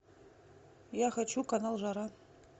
я хочу канал жара